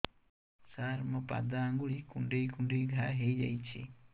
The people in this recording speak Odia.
ସାର ମୋ ପାଦ ଆଙ୍ଗୁଳି କୁଣ୍ଡେଇ କୁଣ୍ଡେଇ ଘା ହେଇଯାଇଛି